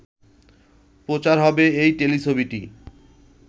প্রচার হবে এই টেলিছবিটি